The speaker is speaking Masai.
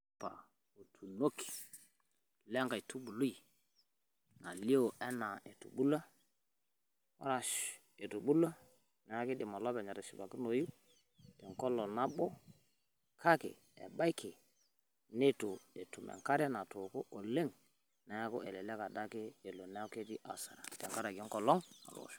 Olchamba otunoki le nkaitubului nalio enaa etubulua Arash etubulua niaku keidim olopeny atishipakinoyu tenkolong nabo. Kake ebaiki neitu etum enkare natooko oleng. Niaku elelek adake elo niaku ketii hasara tenkaraki enkolong natoosho.